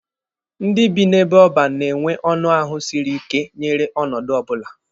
Ndị bi n'ebe oban na-enwe ọnụ ahụ siri ike nyere ọnọdụ ọbụla.